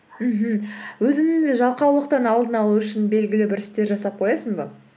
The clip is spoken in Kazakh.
мхм өзіңнің де жалқаулықтың алдын алу үшін белгілі бір істер жасап қоясың ба